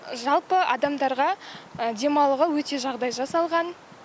жалпы адамдарға демалуға өте жағдай жасалған